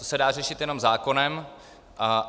To se dá řešit jenom zákonem.